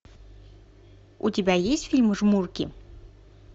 у тебя есть фильм жмурки